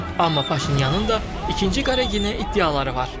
Amma Paşinyanın da ikinci Qareginə iddiaları var.